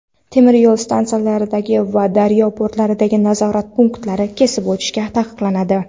temir yo‘l stansiyalaridagi va daryo portlaridagi nazorat punktlarida kesib o‘tish taqiqlanadi.